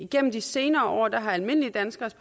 gennem de senere år er almindelige danskeres